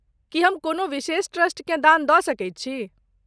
की हम कोनो विशेष ट्रस्टकेँ दान दऽ सकैत छी?